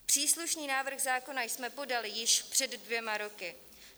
Příslušný návrh zákona jsme podali již před dvěma roky.